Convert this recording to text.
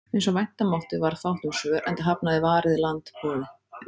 Eins og vænta mátti varð fátt um svör, enda hafnaði Varið land boði